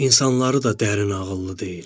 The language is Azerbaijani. İnsanları da dərin ağıllı deyil.